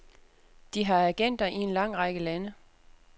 De har agenter i en lang række lande.